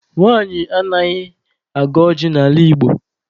Nwanyị anaghị agọ ọjị n'ala Igbo.